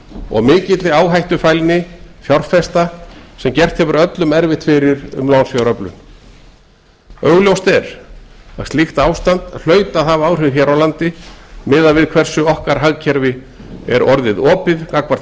og mikilli áhættufælni fjárfesta sem gert hefur öllum erfitt fyrir um lánsfjáröflun augljóst er að slíkt ástand hlaut að hafa áhrif hér á landi miðað við hversu opið okkar hagkerfi er orðið gagnvart